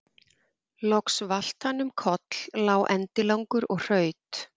Loks valt hann um koll, lá endilangur og hraut.